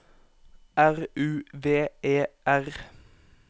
R U V E R